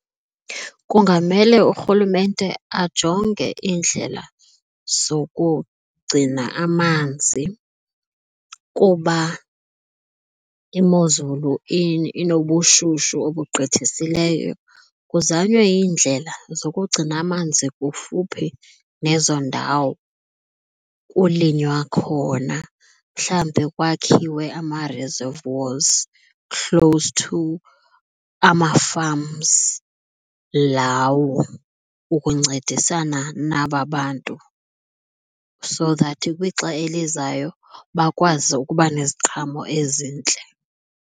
Kungamele urhulumente ajonge iindlela zokugcina amanzi kuba imozulu inobushushu obugqithisileyo. Kuzanywe iindlela zokugcina amanzi kufuphi nezo ndawo kulinywa khona mhlawumbi kwakhiwe ama-reserve walls close to ama-farms lawo ukuncedisana naba bantu, so that kwixa elizayo bakwazi ukuba neziqhamo ezintle.